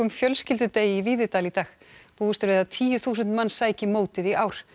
fjölskyldudegi í Víðidal í dag búist er við að tíu þúsund manns sæki mótið í ár